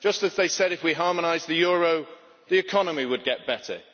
Just as they said that if we harmonised the euro, the economy would get better